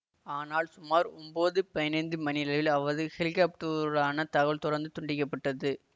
ஆனால் சுமார் ஒன்போது பதினைந்து மணியளவில் அவரது ஹெலிகாப்டுஆன தகவல் தொடர்ந்து துண்டிக்க பட்டது